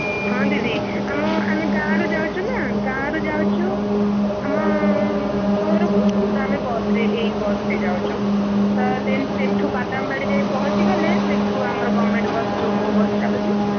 ହଁ ଦିଦି ଆମ ଆମେ ଗାଁରୁ ଯାଉଚୁ ନା ଗାଁରୁ ଯାଉଚୁ ଆମ ସହରକୁ ତ ଆମେ ବସ ରେ ଏଇ ବସ ରେ ଯାଉଚୁ। ତ then ସେଠୁ ବାଦାମବାଡ଼ି ଯାଏ ପହଞ୍ଚି ଗଲେ ସେଠୁ ଆମର government ବସ ଯୋଉ ମୋ ବସ ଚାଲୁଚି।